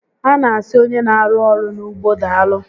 A na asị onye n'arụ ọrụ n'ugbo daalụ